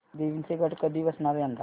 देवींचे घट कधी बसणार यंदा